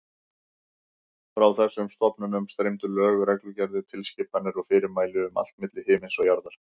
Frá þessum stofnunum streymdu lög, reglugerðir, tilskipanir og fyrirmæli um allt milli himins og jarðar.